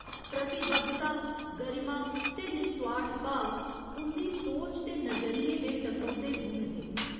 प्रतिबद्धता, गरिमा ते निसोआर्थ भाव उं'दी सोच ते नजरियें दे टकोह्दे गुण हे।